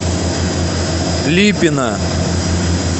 липина